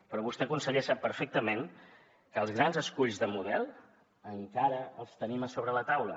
però vostè conseller sap perfectament que els grans esculls de model encara els tenim a sobre la taula